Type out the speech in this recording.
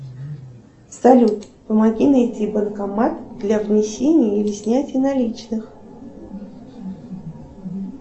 салют помоги найти банкомат для внесения и снятия наличных